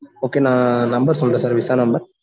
okay நான் number சொல்றேன் sir visa number